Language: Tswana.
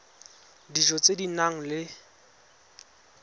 dijo tse di nang le